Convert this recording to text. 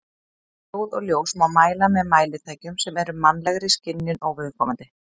Hljóð og ljós má mæla með mælitækjum sem eru mannlegri skynjun óviðkomandi.